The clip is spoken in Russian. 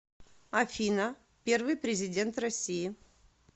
афина первый президент россии